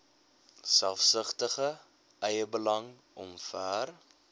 selfsugtige eiebelang omver